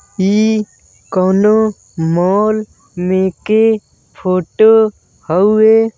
ई कौनो मॉल में के फोटो हउवे।